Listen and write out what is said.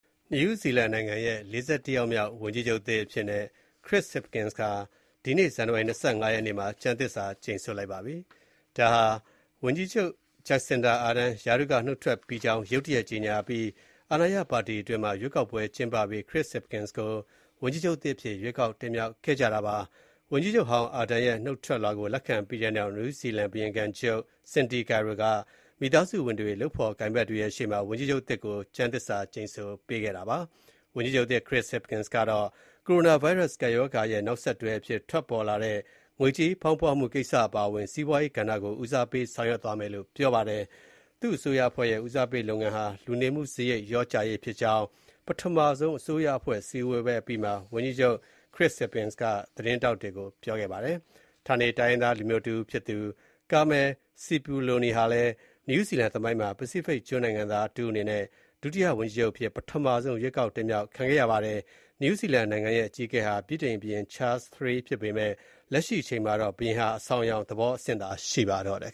နယူးဇီလန်နိုင်ငံရဲ့ ၄၁ ယောက်မြောက် ဝန်ကြီးချုပ်အသစ်အဖြစ်နဲ့ ခရစ္စဟစ်ပ်ကင်စ် (Chris Hipkins) ဟာ ဒီကနေ့ ဇန်နဝါရီ ၂၅ ရက်နေ့မှာ ကျမ်းသစ္စာ ကျိန်ဆိုလိုက်ပါပြီ။ ဒါဟာ ဝန်ကြီးချုပ် ဂျက်စင်ဒါ အာဒန်း (Jacinda Arden) က ရာထူးကနှုတ်ထွက်ကြောင်း ရုတ်တရက်ကြေညာအပြီး အာဏာရပါတီအတွင်းမှာ ရွေးကောက်ပွဲ ကျင်းပပြီး ခရစ္စဟစ်ပ်ကင်စ်ကို ဝန်ကြီးချုပ်သစ်အဖြစ် ရွေးကောက် တင်မြောက်ခဲ့ကြတာပါ။ ဝန်ကြီးချုပ်ဟောင်း အာဒန်ရဲ့ နုတ်ထွက်လွှာကို လက်ခံပြီးတဲ့နောက် နယူးဇီလန် ဘုရင်ခံချုပ် စင်ဒီကီရို (Cindy Kiro)က မိသားစုဝင်တွေ၊ လုပ်ဖော်ကိုင်ဘက်တွေရဲ့ရှေ့မှာ ဝန်ကြီးချုပ်သစ်ကို ကျမ်းသစ္စာကျိန်ဆိုပေးခဲ့တာပါ။ ဝန်ကြီးချုပ်သစ် ခရစ္စဟစ်ပ်ကင်စ်ကတော့ ကိုရိုနာဗိုင်းရပ်စ် ကပ်ရောဂါရဲ့နောက်ဆက်တွဲအဖြစ် ထွက်ပေါ်လာတဲ့ ငွေကြေးဖောင်းပွမှုကိစ္စ အပါအဝင် စီးပွားရေးကဏ္ဍကို ဦးစားပေး ဆောင်ရွက်သွားမယ်လို့ ပြောပါတယ်။ သူ့အစိုးရအဖွဲ့ဲရဲ့ ဦးစားပေးလုပ်ငန်းဟာ လူနေမှုစားရိတ် လျော့ကျရေးဖြစ်ကြောင်း ပထမဆုံးအကြိမ် အစိုးရအဖွဲ့ စည်းဝေးပွဲအပြီးမှာ ဝန်ကြီးချုပ်ခရစ္စဟစ်ပ်ကင်စ်က သတင်းထောက်တွေကို ပြောခဲ့ပါတယ်။ ဌာနေတိုင်းရင်းသားလူမျိုးတဦးဖြစ်သူ ကာမယ်လ်စစ်ပလိုနီ (Carmel Sepuloni) ဟာလည်း နယူးဇီလန်သမိုင်းမှာ ပစိဖိတ်ကျွန်းနိုင်ငံသားတဦးအနေနဲ့ ဒုတိယ ဝန်ကြီးချုပ်အဖြစ် ပထမဆုံးအကြိမ် ရွေးကောက်တင်မြောက်ခံခဲ့ရပါတယ်။ နယူးဇီလန်နိုင်ငံရဲ့ အကြီးအကဲဟာ ဗြိတိန်တတိယချားလ်ဘုရင် Charles III ဖြစ်ပေမယ့် လက်ရှိအချိန်မှာတော့ ဘုရင်ဟာ အဆောင်အယောင်သဘောအဆင့်သာ ရှိပါတော့တယ်။